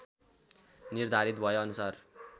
निर्धारित भए अनुसार